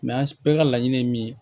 an bɛɛ ka laɲini ye min ye